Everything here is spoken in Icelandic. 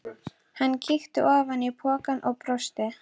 Hann kíkti ofan í pokann og brosti.